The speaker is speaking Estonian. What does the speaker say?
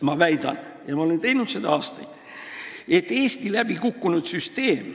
Ma olen juba aastaid väitnud, et Eesti süsteem on läbi kukkunud.